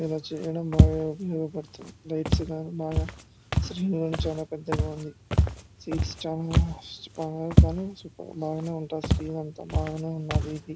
ఇలా చేయడం బాగా ఉపయోగపడుతుంది. బాగా శ్రీ చాలా పెద్దగా ఉంది. స్వీట్స్ చాలా బాగానే ఉన్నదీ ఇది.